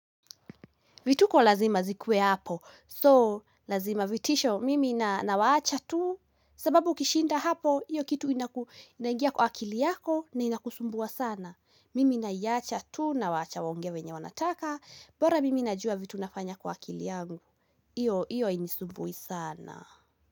Vituko lazima zikuwe hapo so lazima vitisho mimi nawaacha tu sababu ukishinda hapo iyo kitu inaingia kwa akili yako na ina kusumbua sana. Mimi naiacha tu nawaacha waongee venye wanataka bora mimi najua vitu nafanya kwa akili yangu. Iyo iyo hainisumbui sana.